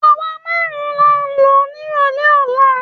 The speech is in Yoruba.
Àwa márùn-ún là ń lọ nírọ̀lẹ́ ọ̀la